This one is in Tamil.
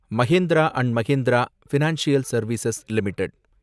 Mahindra and Mahindra financial service limited